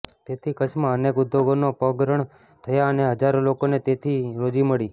તેથી કચ્છમાં અનેક ઉદ્યોગોના પગરણ થયા અને હજારો લોકોને તેથી રોજી મળી